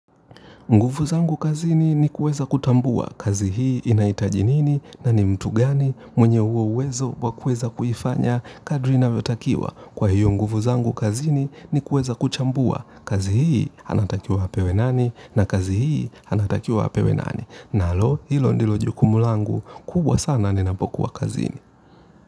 Nguvu zangu kazini ni kuweza kutambua kazi hii inahitaji nini na ni mtu gani mwenye huo uwezo wa kuweza kuifanya kadiri inavyotakiwa. Kwa hiyo nguvu zangu kazini ni kuweza kuchambua kazi hii anatakiwa apewe nani na kazi hii anatakiwa apewe nani. Nalo hilo ndilo jukumu langu kubwa sana ninapokuwa kazini.